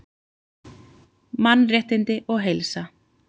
Mannréttindi og heilsa